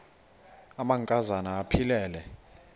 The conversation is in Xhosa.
amanka zana aphilele